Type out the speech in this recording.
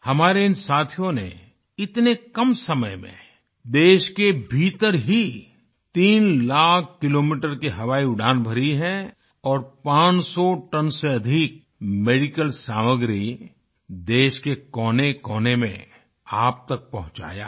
हमारे इन साथियों ने इतने कम समय में देश के भीतर ही तीन लाख किलोमीटर की हवाई उड़ान भरी है और 500 टन से अधिक मेडिकल सामग्री देश के कोनेकोने में आप तक पहुँचाया है